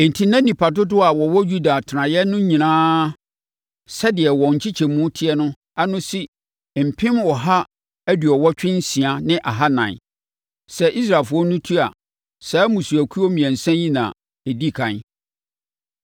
Enti na nnipa dodoɔ a wɔwɔ Yuda atenaeɛ no nyinaa sɛdeɛ wɔn nkyekyɛmu teɛ no ano si mpem ɔha aduɔwɔtwe nsia ne ahanan (186,400). Sɛ Israelfoɔ no tu a, saa mmusuakuo mmiɛnsa yi na ɛdi ɛkan.